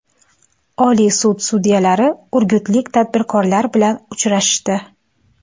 Oliy sud sudyalari urgutlik tadbirkorlar bilan uchrashdi.